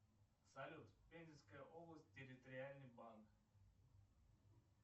салют пензенская область территориальный банк